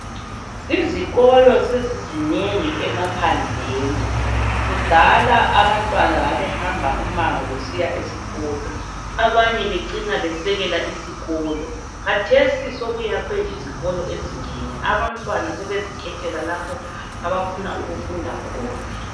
Izikolo sezizinengi emaphandleni kudala abantwana babehamba umango besiya esikolo abanye becina besekela isikolo khathesi sokuyakhwe izikolo ezinengi abantwana sebezikhethela lapho abafuna ukufunda khona.